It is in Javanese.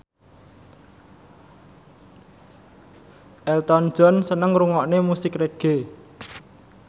Elton John seneng ngrungokne musik reggae